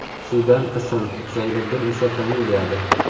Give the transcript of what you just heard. Zidan ism, Zayniddin esa familiyadir.